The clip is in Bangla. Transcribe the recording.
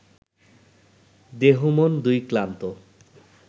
দেহমন দুই ক্লান্ত